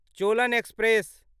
Cholan express